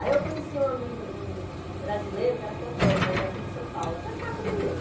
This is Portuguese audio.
Aí eu conheci um amigo, um brasileiro, que era fotógrafo, ele é aqui de São Paulo, até paquerei ele.